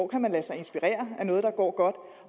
kan lade sig inspirere af noget der går godt og